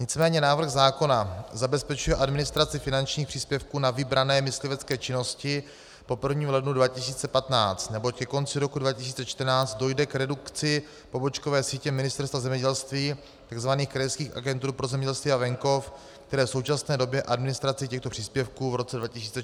Nicméně návrh zákona zabezpečuje administraci finančních příspěvků na vybrané myslivecké činnosti po 1. lednu 2015, neboť ke konci roku 2014 dojde k redukci pobočkové sítě Ministerstva zemědělství, tzv. krajských agentur pro zemědělství a venkov, které v současné době administraci těchto příspěvků v roce 2014 zajišťovaly.